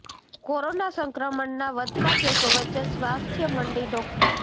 corona સંક્રમણના વધતા કેસો વચ્ચે સ્વાસ્થ્ય મંત્રી ડો